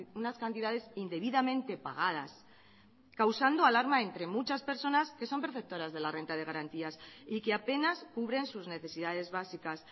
unas cantidades indebidamente pagadas causando alarma entre muchas personas que son perceptoras de la renta de garantías y que apenas cubren sus necesidades básicas